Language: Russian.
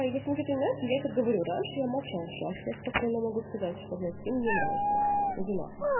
если что-то не нравится я так говорю раньше я молчала сейчас я спокойно могу сказать что блять ты мне не нравишься иди нахуй